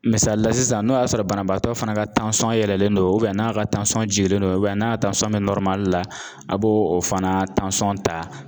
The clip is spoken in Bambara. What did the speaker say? Misali la sisan n'o y'a sɔrɔ banabaatɔ fana ka yɛlɛlen don n'a ka jigilen don n'a bɛ la, a' b'o o fana ta.